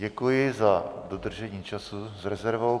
Děkuji za dodržení času s rezervou.